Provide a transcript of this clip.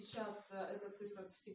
сейчас эта цифра тк